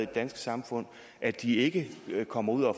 danske samfund at de ikke kommer ud og